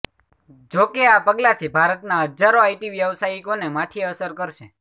જોકે આ પગલાથી ભારતના હજારો આઇટી વ્યાવસાયિકોને માઠી અસર કરશે